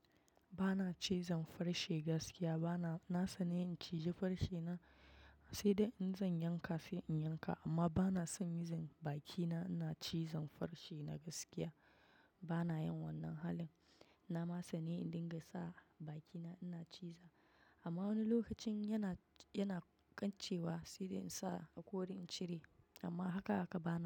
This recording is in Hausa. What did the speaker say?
Ba na cizon farshi gaskiya, bana. Na sani in cije farshi na, sai dai in zan yanka sai in yanka amma bana son yin bakina ina cizon farshi na gaskiya. Bana yin wannan halin. Na ma sani in dinga sa bakina ina ciza amma wani lokacin yana, yana kan cewa sai dai in sa hakori in cire amma haka haka bana.